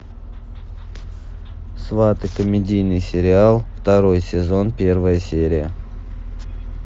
сваты комедийный сериал второй сезон первая серия